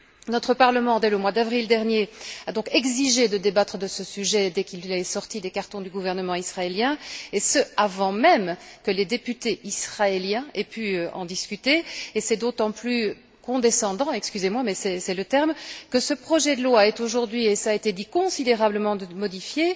Notre Parlement, dès le mois d'avril dernier, a donc exigé de débattre de ce sujet dès qu'il est sorti des cartons du gouvernement israélien, et ce avant même que les députés israéliens aient pu en discuter. Cela est d'autant plus condescendant excusez moi, mais c'est le terme que ce projet de loi est aujourd'hui et cela a été dit considérablement modifié.